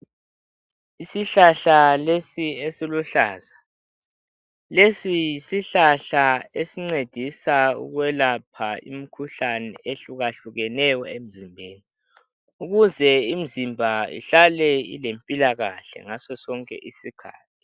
Isihlahla lesi esiluhlaza lesi yisihlahla esincedisa ukwelapha imikhuhlane ehlukehlukeneyo emzimbeni. Ukuze imzimba ihlale ilempilakahle ngaso sonke isikhathi.